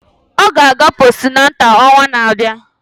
Ọ ga-aga postunátál ọnwa na-abịa